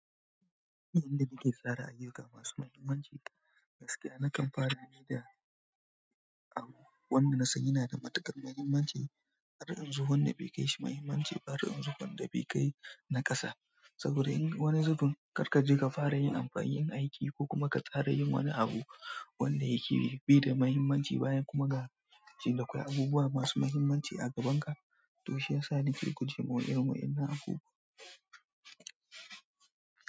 Inda nake tsara ayyuka masu mahimmanci, gaskiya nakan fara ne da abu wanda na sani yana da matuƙar muhimmanci, adadin zuwan da bai kai shi muhimmanci ba, adadin zuwan da bai kai na ƙasa. Saboda in wani zaɓin karkaje ka fara yin amfani yin aiki ko kuma ka tsara yin wani abu wanda yake bai da muhimmanci bayan kuma ga shin dakwai abubuwa masu muhimmanci a gabanka, to shi yasa nake guje ma irin wa'yannan abubuwan.